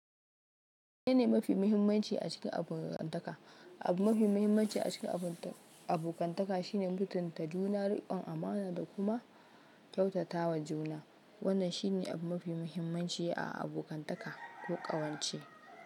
Menene mafi muhimmanci a cikin abokantaka. Abu mafi muhimmanci a cikin abokantaka shine mutunta juna, riƙon amana da kuma kyautatawa juna. Wannan shi ne abu mafi muhimmanci a abokantaka ko ƙawance.